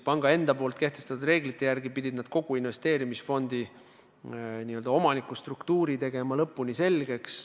Panga enda kehtestatud reeglite järgi pidid nad kogu investeerimisfondi omanikustruktuuri enda jaoks lõpuni selgeks tegema.